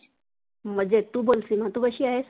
मजेत, तु बोल सिमा तु कशी आहेस?